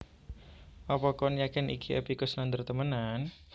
Opo koen yakin iki Epy Koesnandar temenan